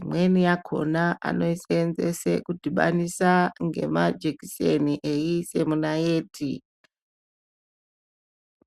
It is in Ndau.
imweni yakhona anoisenzese kudhibanisa ngemajekiseni veise munaiti.